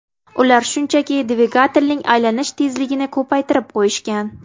Ular shunchaki dvigatelning aylanish tezligini ko‘paytirib qo‘yishgan.